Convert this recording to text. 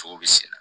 Sogo bi sen na